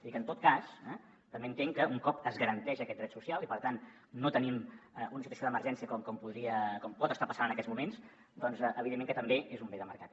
i en tot cas també entenc que un cop es garanteix aquest dret social i per tant no tenim una situació d’emergència com pot estar passant en aquests moments evidentment també és un bé de mercat